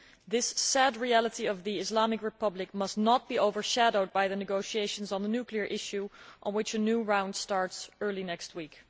This sad reality of the Islamic Republic must not be overshadowed by the negotiations on the nuclear issue, a new round of which starts early next week.